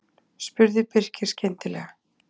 spurði Birkir skyndilega.